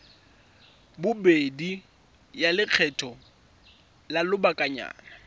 bobedi ya lekgetho la lobakanyana